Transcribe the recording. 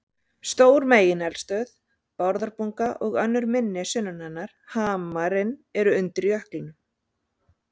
Stór megineldstöð, Bárðarbunga, og önnur minni sunnan hennar, Hamarinn, eru undir jöklinum.